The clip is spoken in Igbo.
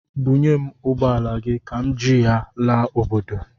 Bunyem ụgbọala gị ka m ji laa obodo!